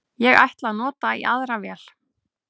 Ég ætla að nota í aðra vél